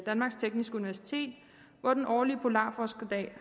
danmarks tekniske universitet hvor den årlige polarforskerdag